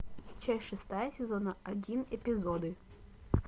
часть шестая сезона один эпизоды